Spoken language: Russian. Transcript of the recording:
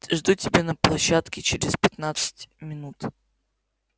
жду тебя на площадке через пятнадцать минут